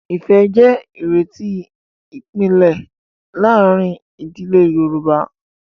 Ìfẹ́ jẹ́ ìrètí ìpìlẹ̀ láàárín ìdílé Yorùbá.